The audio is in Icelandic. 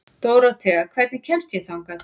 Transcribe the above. Dórothea, hvernig kemst ég þangað?